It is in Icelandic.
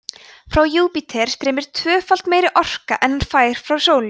frá júpíter streymir tvöfalt meiri orka en hann fær frá sólu